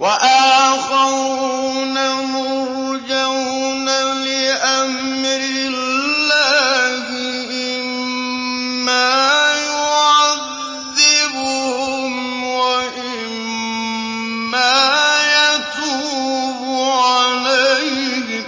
وَآخَرُونَ مُرْجَوْنَ لِأَمْرِ اللَّهِ إِمَّا يُعَذِّبُهُمْ وَإِمَّا يَتُوبُ عَلَيْهِمْ ۗ